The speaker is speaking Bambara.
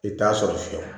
I t'a sɔrɔ fiyewu